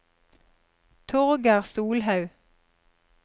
Torger Solhaug